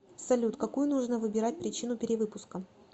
салют какую нужно выбирать причину перевыпуска